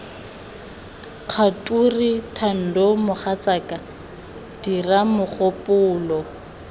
kgature thando mogatsaka diga mogopolo